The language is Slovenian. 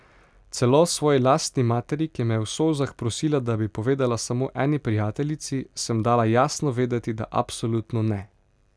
Celo svoji lastni materi, ki me je v solzah prosila, da bi povedala samo eni prijateljici, sem dala jasno vedeti, da absolutno ne.